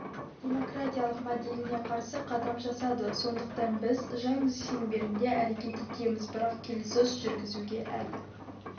демократиялық моделіне қарсы қадам жасады сондықтан біз заң шеңберінде әрекет етеміз бірақ келіссөз жүргізуге әлі